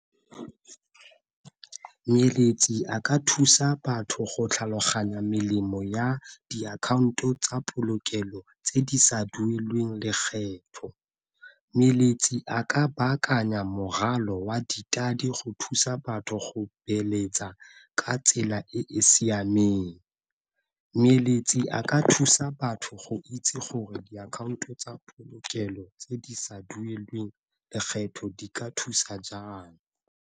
a ka thusa batho go tlhaloganya melemo ya diakhaonto tsa polokelo tse di sa dueleng lekgetho, a ka baakanya wa go thusa batho go beeletsa ka tsela e e siameng. a ka thusa batho go itse gore diakhaonto tsa polokelo tse di sa dueleng lekgetho di ka thusa jang.